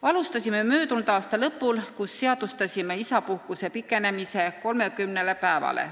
Alustasime möödunud aasta lõpul, kui seadustasime isapuhkuse pikenemise 30 päevani.